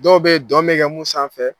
Dɔw bɛ dɔn be kɛ mun sanfɛ